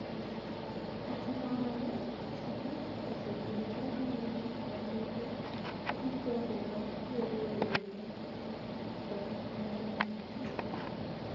Kata kamano, Chakacha osebedo ka ng�iyo ahinya gi jogo ma wero wende ma oko mar nam chumbi,